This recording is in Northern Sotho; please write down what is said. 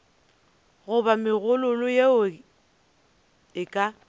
goba megololo yeo e ka